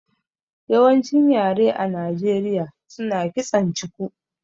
Yawancin yare a Nijeriya suna kitson chuku